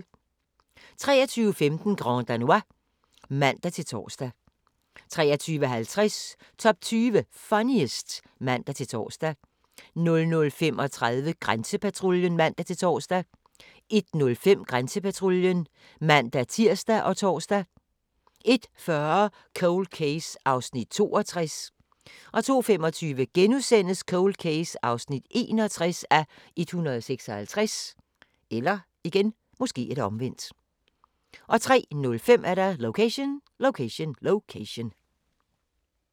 23:15: Grand Danois (man-tor) 23:50: Top 20 Funniest (man-tor) 00:35: Grænsepatruljen (man-tor) 01:05: Grænsepatruljen (man-tir og tor) 01:40: Cold Case (62:156) 02:25: Cold Case (61:156)* 03:05: Location, Location, Location